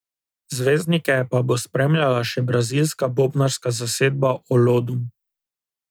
Zvezdnike pa bo spremljala še brazilska bobnarska zasedba Olodum.